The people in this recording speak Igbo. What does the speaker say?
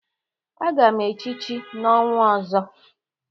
Aga m echichi n'ọnwa ọzọ.